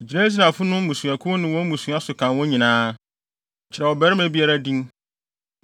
“Gyina Israelfo no mmusuakuw ne wɔn mmusua so kan wɔn nyinaa. Kyerɛw ɔbarima biara din.